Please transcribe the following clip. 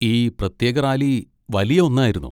ഈ പ്രത്യേക റാലി വലിയ ഒന്നായിരുന്നു.